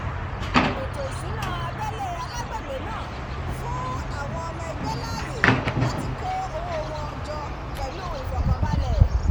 ètò ìṣúná abẹ́lé alágbègbè náà fún àwọn ọmọ ẹgbẹ́ láàyè láti kó owó wọn jọ pẹ̀lú ìfọ̀kànbalẹ̀